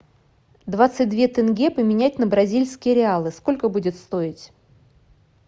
двадцать две тенге поменять на бразильские реалы сколько будет стоить